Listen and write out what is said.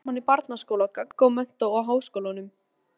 Voru saman í barnaskóla, gaggó, menntó og háskólanum.